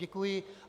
Děkuji.